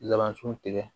Laban sun tigɛ